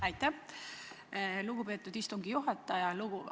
Aitäh, lugupeetud istungi juhataja!